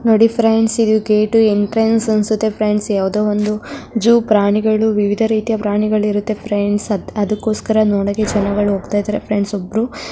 ನೋಡಿ ಫ್ರೆಂಡ್ಸ್ ಇದು gate entrance ಅನ್ಸುತ್ತೆ ಫ್ರೆಂಡ್ಸ್ ಯಾವುದೋ ಒಂದು ಜೂ ಪ್ರಾಣಿಗಳು ವಿವಿಧ ರೀತಿಯ ಪ್ರಾಣಿಗಳು ಇರುತ್ತೆ ಫ್ರೆಂಡ್ಸ್ ಅದುಕೋಸ್ಕರ ನೋಡೋಕೆ ಜನಗಳು ಹೋಗ್ತಾ ಇದಾರೆ ಫ್ರೆಂಡ್ಸ್ ಒಬ್ರೂ --